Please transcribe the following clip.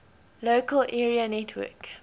local area network